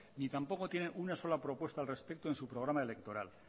ni tampoco tienen una sola propuesta al respecto en su programa electoral